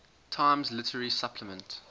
times literary supplement